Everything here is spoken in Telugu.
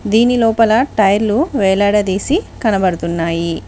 దీని లోపల టైర్లు వేలాడదీసి కనబడుతున్నాయి.